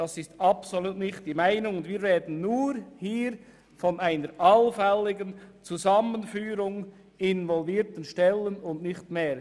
Das ist absolut nicht die Meinung, und wir sprechen hier nur von einer allfälligen Zusammenführung involvierter Stellen und von nichts anderem.